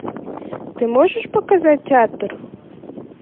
ты можешь показать театр